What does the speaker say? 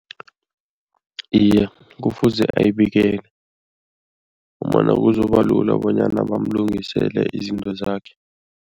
Iye, kufuze ayibikele ngombana kuzoba lula bonyana bamlungisele izinto zakhe.